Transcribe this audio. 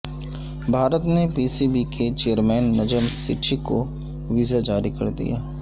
بھارت نے P C B کے chairman Najam Sethi کو ویزا جاری کر دیا